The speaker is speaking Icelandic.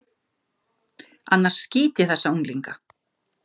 Annars skýt ég þessa unglinga.